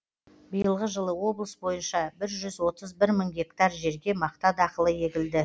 биылғы жылы облыс бойынша бір жүз отыз бір мың гектар жерге мақта дақылы егілді